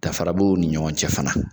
Dafara b'o ni ɲɔgɔn cɛ fana